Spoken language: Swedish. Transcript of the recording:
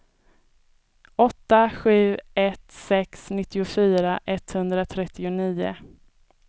åtta sju ett sex nittiofyra etthundratrettionio